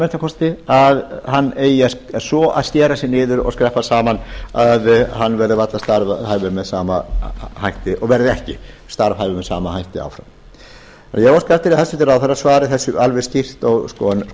minnsta kosti að hann eigi að skera sig niður og skreppa saman að hann verði varla starfhæfur með sama hætti og verði ekki starfhæfur með sama hætti áfram eg óska eftir að hæstvirtur ráðherra svari þessu alveg skýrt